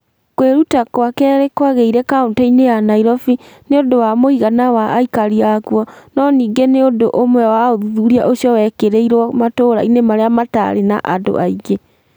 Kwĩruta kwa kerĩ kwagĩire kaunti-inĩ ya Nairobi nĩ ũndũ wa mũigana wa aikari a kuo no ningĩ nĩ ũndũ ũmwe wa ũthuthuria ũcio wekĩrirũo matũũra-inĩ marĩa matarĩ na andũ aingĩ.